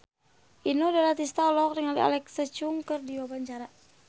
Inul Daratista olohok ningali Alexa Chung keur diwawancara